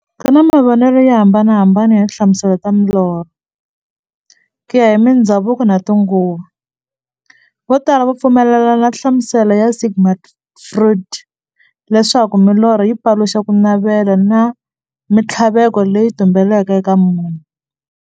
Ku na mavonele yo hambanahambana ya tinhlamuselo ta milorho, kuya hi mindzhavuko na tinguva. Votala va pfumelana na nhlamuselo ya Sigmund Freud, leswaku milorho yi paluxa kunavela na minthlaveko leyi tumbeleke eka munhu.